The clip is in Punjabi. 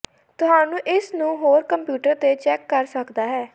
ਤੁਹਾਨੂੰ ਇਸ ਨੂੰ ਹੋਰ ਕੰਪਿਊਟਰ ਤੇ ਚੈੱਕ ਕਰ ਸਕਦਾ ਹੈ